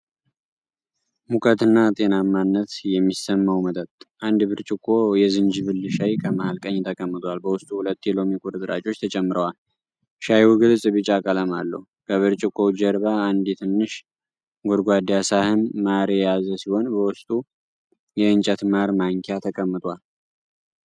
ሙቀትና ጤናማነት የሚሰማው መጠጥ። አንድ ብርጭቆ የዝንጅብል ሻይ ከመሃል ቀኝ ተቀምጧል፣ በውስጡ ሁለት የሎሚ ቁርጥራጮች ተጨምረዋል። ሻዩ ግልጽ ቢጫ ቀለም አለው። ከብርጭቆው ጀርባ አንድ ትንሽ ጎድጓዳ ሳህን ማር የያዘ ሲሆን፣ በውስጡ የእንጨት ማር ማንኪያ ተቀምጧል።